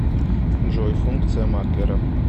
джой функция маклера